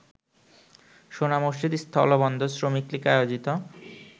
সোনামসজিদ স্থলবন্দর শ্রমিকলীগ আয়োজিত